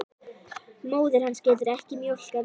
Móðir hans getur ekki mjólkað meira.